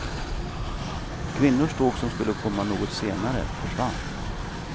Kvinnornas tåg, som skulle komma något senare, försvann.